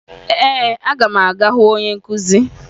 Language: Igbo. Ee, aga m aga hụ onye nkụzi